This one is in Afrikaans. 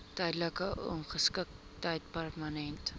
tydelike ongeskiktheid permanente